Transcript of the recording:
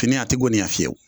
Fini a te goniya fiyewu